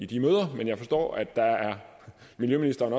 de møder men jeg forstår at miljøministeren